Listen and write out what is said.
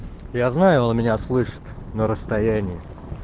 я знаю он меня слышит на расстояние